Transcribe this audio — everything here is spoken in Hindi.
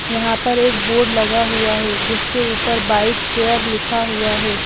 यहाँ पर एक बोर्ड लगा हुआ है जिसके ऊपर बाइक केयर लिखा हुआ है।